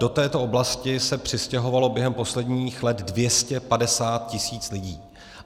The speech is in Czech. Do této oblasti se přistěhovalo během posledních let 250 tisíc lidí.